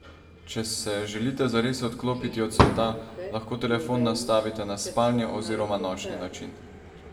Če se želite zares odklopiti od sveta, lahko telefon nastavite na spalni oziroma nočni način.